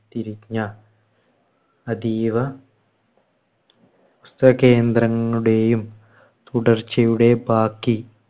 തിരിഞ്ഞ അതീവ കേന്ദ്രങ്ങളുടെയും തുടർച്ചയുടെ ബാക്കി